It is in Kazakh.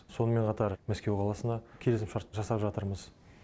сонымен қатар мәскеу қаласына келісім шарт жасап жатырмыз